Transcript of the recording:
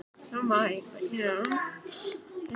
Amma tók kjötbolluna af Halldóri og setti hana á borðshornið.